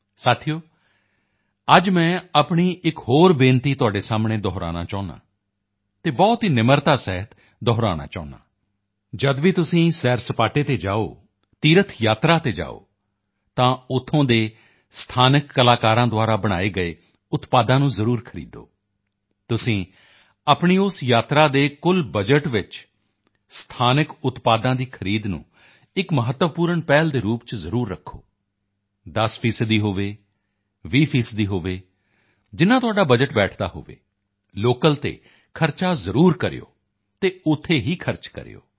ਸਾਥੀਓ ਅੱਜ ਮੈਂ ਆਪਣੀ ਇੱਕ ਹੋਰ ਬੇਨਤੀ ਤੁਹਾਡੇ ਸਾਹਮਣੇ ਦੁਹਰਾਉਣਾ ਚਾਹੁੰਦਾ ਹਾਂ ਅਤੇ ਬਹੁਤ ਹੀ ਨਿਮਰਤਾ ਸਹਿਤ ਦੁਹਰਾਉਣਾ ਚਾਹੁੰਦਾ ਹਾਂ ਜਦ ਵੀ ਤੁਸੀਂ ਸੈਰਸਪਾਟੇ ਤੇ ਜਾਓ ਤੀਰਥ ਯਾਤਰਾ ਤੇ ਜਾਓ ਤਾਂ ਉੱਥੋਂ ਦੇ ਸਥਾਨਕ ਕਲਾਕਾਰਾਂ ਦੁਆਰਾ ਬਣਾਏ ਗਏ ਉਤਪਾਦਾਂ ਨੂੰ ਜ਼ਰੂਰ ਖਰੀਦੋ ਤੁਸੀਂ ਆਪਣੀ ਉਸ ਯਾਤਰਾ ਦੇ ਕੁੱਲ ਬਜਟ ਵਿੱਚ ਸਥਾਨਕ ਉਤਪਾਦਾਂ ਦੀ ਖਰੀਦ ਨੂੰ ਇੱਕ ਮਹੱਤਵਪੂਰਣ ਪਹਿਲ ਦੇ ਰੂਪ ਚ ਜ਼ਰੂਰ ਰੱਖੋ 10 ਫੀਸਦੀ ਹੋਵੇ 20 ਫੀਸਦੀ ਹੋਵੇ ਜਿੰਨਾ ਤੁਹਾਡਾ ਬਜਟ ਬੈਠਦਾ ਹੋਵੇ ਲੋਕਲ ਤੇ ਖਰਚਾ ਜ਼ਰੂਰ ਕਰਿਓ ਅਤੇ ਉੱਥੇ ਹੀ ਖਰਚ ਕਰਿਓ